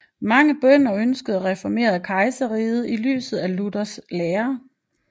Mange bønder ønskede at reformere kejserriget i lyset af Luthers lære